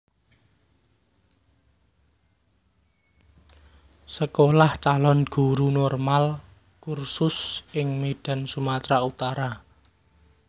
Sekolah Calon Guru Normaal Cursus ing Medan Sumatra Utara